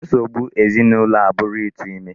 Nsogbu ezinụlọ a bụrụ ịtụ ime.